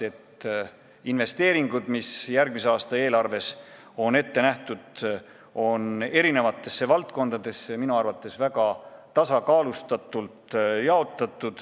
Investeeringud, mis järgmise aasta eelarves on ette nähtud, on eri valdkondade vahel minu arvates väga tasakaalustatult jaotatud.